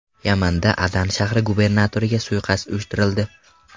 Yamanda Adan shahri gubernatoriga suiqasd uyushtirildi.